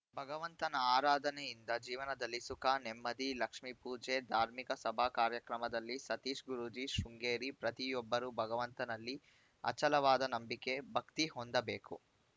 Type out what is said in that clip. ಭಗವಂತನ ಆರಾಧನೆಯಿಂದ ಜೀವನದಲ್ಲಿ ಸುಖ ನೆಮ್ಮದಿ ಲಕ್ಷ್ಮೀಪೂಜೆ ಧಾರ್ಮಿಕ ಸಭಾ ಕಾರ್ಯಕ್ರಮದಲ್ಲಿ ಸತೀಶ್‌ ಗುರೂಜೀ ಶೃಂಗೇರಿ ಪ್ರತಿಯೊಬ್ಬರೂ ಭಗವಂತನಲ್ಲಿ ಅಚಲವಾದ ನಂಬಿಕೆ ಭಕ್ತಿ ಹೊಂದಬೇಕು